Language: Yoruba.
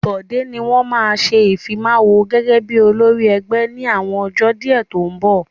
Bọ̀dé ni wọ́n ma ṣe Ìfimáwo gẹ́gẹ́ bí olórí ẹgbẹ́ ní àwọn ọjọ́ díẹ̀ tó ń bọ̀